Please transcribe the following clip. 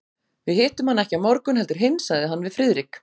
Við hittum hann ekki á morgun heldur hinn sagði hann við Friðrik.